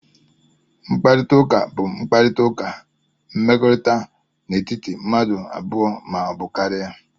Mkparịta ụka bụ mkparịta ụka mmekọrịta n'etiti mmadụ abụọ ma ọ bụ karịa